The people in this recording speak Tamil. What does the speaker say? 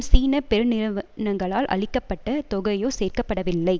சீன பெருநிறுவனங்களால் அளிக்க பட்ட தொகையோ சேர்க்க படவில்லை